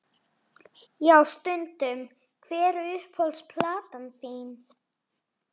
Já stundum Hver er uppáhalds platan þín?